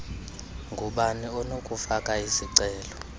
ngubani onokufaka isicelo